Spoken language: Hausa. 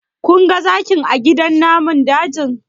Kun ga zakin a gidan namun dajin?